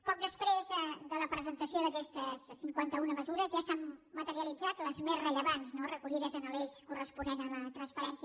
poc després de la presentació d’aquestes cinquanta una mesures ja se n’han materialitzat les més rellevants no recollides en l’eix corresponent a la transparència